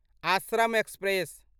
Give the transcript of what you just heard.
Ashram express